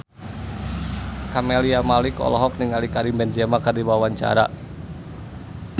Camelia Malik olohok ningali Karim Benzema keur diwawancara